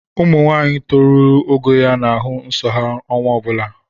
Ụmụnwaanyị torurula ogo ya na-ahụ nsọ ha ọnwa ọ bụla